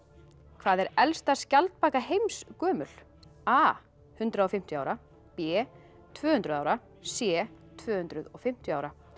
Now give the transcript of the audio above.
hvað er elsta skjaldbaka heims gömul a hundrað og fimmtíu ára b tvö hundruð ára c tvö hundruð og fimmtíu ára